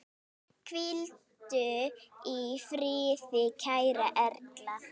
Hvíldu í friði kæra Erla.